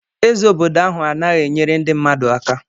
Eze obodo ahụ anaghị enyere ndị mmadụ aka.